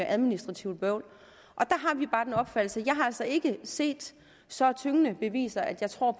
administrativt bøvl jeg har altså ikke set så tyngende beviser at jeg tror